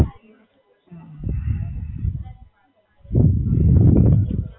અચ્છા, તો કેવું, ફાવે છે હવે?